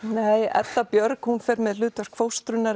Edda Björg hún fer með hlutverk